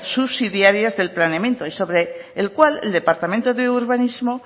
subsidiarios del planeamiento y sobre el cual el departamento de urbanismo